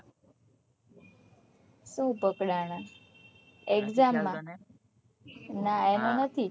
કોણ પકડના exam માં ના એનું નથી